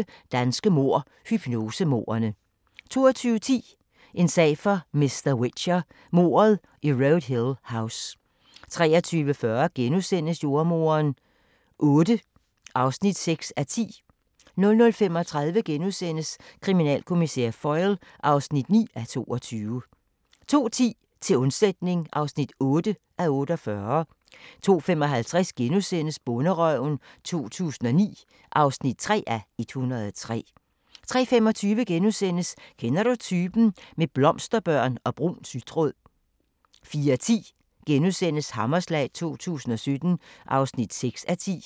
21:25: Danske mord – Hypnosemordene 22:10: En sag for mr. Whicher: Mordet i Road Hill House 23:40: Jordemoderen VIII (6:10)* 00:35: Kriminalkommissær Foyle (9:22)* 02:10: Til undsætning (8:48) 02:55: Bonderøven 2009 (3:103)* 03:25: Kender du typen? – med blomsterbørn og brun sytråd * 04:10: Hammerslag 2017 (6:10)*